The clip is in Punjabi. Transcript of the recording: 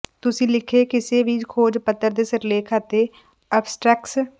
ਤੁਸੀਂ ਲਿਖੇ ਕਿਸੇ ਵੀ ਖੋਜ ਪੱਤਰ ਦੇ ਸਿਰਲੇਖ ਅਤੇ ਅਬਸਟਰੈਕਸ